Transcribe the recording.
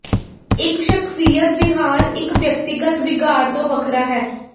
ਇੱਕ ਸ਼ਖਸੀਅਤ ਵਿਹਾਰ ਇਕ ਵਿਅਕਤੀਗਤ ਵਿਗਾੜ ਤੋਂ ਵੱਖਰਾ ਹੈ